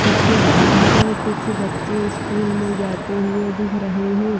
जिसके बहार कुछ बच्चे स्कूल में जाते हुए दिख रहे हे ।